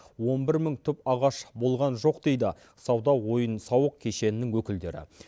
он бір мың түп ағаш болған жоқ дейді сауда ойын сауық кешенінің өкілдері